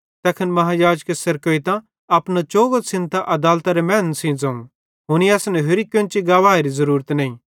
तैखन महायाजके सेरकोइतां अपना चोगो छ़िन्दतां अदालतेरे मैनन् सेइं ज़ोवं हुनी असन होरि केन्चेरी गवाहेरी ज़रूरत नईं